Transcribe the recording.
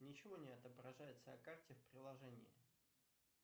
ничего не отображается на карте в приложении